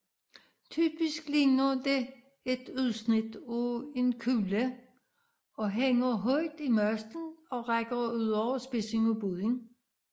Typisk ligner det et udsnit af en kugle og hænger højt i masten og rækker ud over spidsen af båden